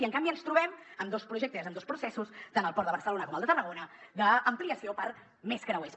i en canvi ens trobem amb dos projectes i amb dos processos tant al port de barcelona com al de tarragona d’ampliació per a més creuers